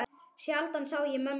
Sjaldan sá ég mömmu bogna.